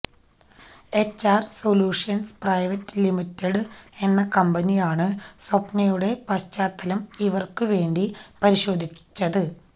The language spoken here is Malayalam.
എച്ച്ആര് സൊല്യൂഷന്സ് പ്രൈവറ്റ് ലിമിറ്റഡ് എന്ന കമ്പനിയാണ് സ്വപ്നയുടെ പശ്ചാത്തലം ഇവര്ക്കുവേണ്ടി പരിശോധിച്ചത്